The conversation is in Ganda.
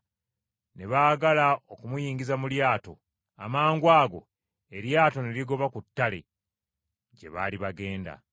Ne baagala okumuyingiza mu lyato, amangwago eryato ne ligoba ku ttale gye baali bagenda.